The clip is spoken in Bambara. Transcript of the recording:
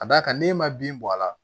Ka d'a kan n'e ma bin bɔ a la